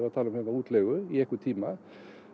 útleigu í einhvern tíma